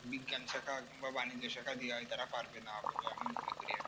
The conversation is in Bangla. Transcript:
বিজ্ঞান শেখা কিংবা বাণিজ্য শেখা দেয়া হয় তারা পারবে না বলে আমি মনে করি